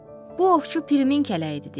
Bu ovçu Pirimin kələyidir, deyir.